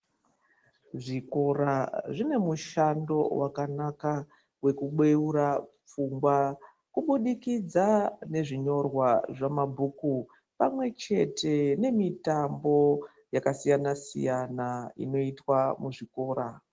Zvikora zvine mushando wakanaka wekubeura pfungwa kubudikidza nezvinyorwa zvamabhuku pamwe chete nemitambo yakasiyana siyana inoitwa muzvikora.